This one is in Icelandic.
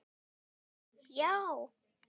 Þau: Já.